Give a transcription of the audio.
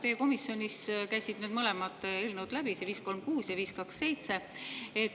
Teie komisjonist käisid mõlemad eelnõud läbi, 536 ja 527.